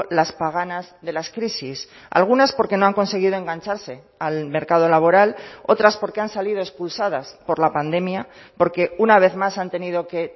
las paganas de las crisis algunas porque no han conseguido engancharse al mercado laboral otras porque han salido expulsadas por la pandemia porque una vez más han tenido que